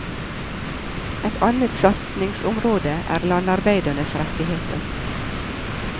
Et annet satsningsområde er landarbeidernes rettigheter.